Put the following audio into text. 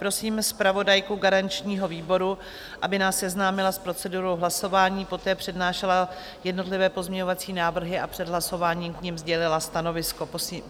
Prosím zpravodajku garančního výboru, aby nás seznámila s procedurou hlasování, poté přednášela jednotlivé pozměňovací návrhy a před hlasováním k nim sdělila stanovisko.